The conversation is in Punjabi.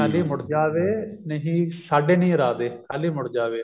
ਖਾਲੀ ਮੁੜ ਜਾ ਵੇ ਨਹੀਂ ਸਾਡੇ ਨਹੀਂ ਇਰਾਦੇ ਖਾਲੀ ਮੁੜ ਜਾ ਵੇ